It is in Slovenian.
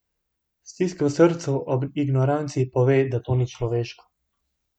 Stisk v srcu ob ignoranci, pove, da to ni človeško!